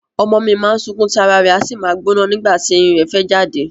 Ọmọ mi má ń sunkún tí ara rẹ̀ a sì máa gbóná nígbà tí eyín rẹ̀ fẹ́ jáde